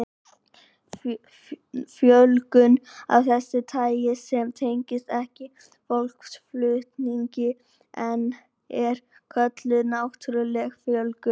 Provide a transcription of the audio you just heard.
Fjölgun af þessu tagi sem tengist ekki fólksflutningum er kölluð náttúruleg fjölgun.